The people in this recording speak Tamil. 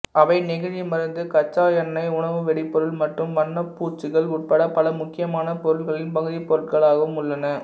அவை நெகிழி மருந்து கச்சா எண்ணெய் உணவு வெடிபொருள் மற்றும் வண்ணப்பூச்சுகள் உட்பட பல முக்கியமான பொருட்களின் பகுதிப்பொருட்களாகவும் உள்ளன